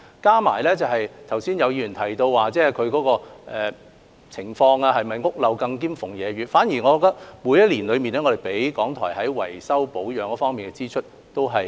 再者，剛才有議員提到港台的情況是否屋漏兼逢連夜雨，我反而認為，我們每年均因應港台的需要，提供維修保養方面的支出。